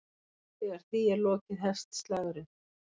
Þegar því er lokið hefst slagurinn.